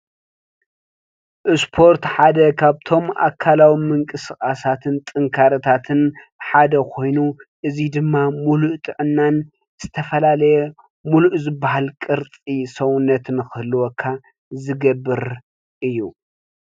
እስፖር ሓደ ካብቶም ኣከላዊ ምቅስቃሳትን ጥንካረታትን ሓደ ኮይኑ እዚ ድማ ሙሉእ ጥዕናን ዝተፈላለዩ ሙሉ ዝባሃል ቅርፂ ሰውነት ክህልወካ ዝገብር እዩ፡፡